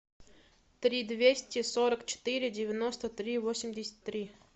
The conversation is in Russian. три двести сорок четыре девяносто три восемьдесят три